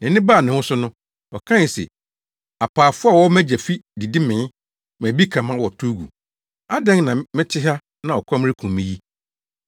“Nʼani baa ne ho so no, ɔkae se, ‘Apaafo a wɔwɔ mʼagya fi didi mee, ma bi ka ma wɔtow gu. Adɛn na mete ha na ɔkɔm rekum me yi!